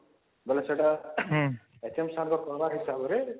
ଵାଲେ ସେଇଟା actually sir ଙ୍କ programme ହିସାବରେ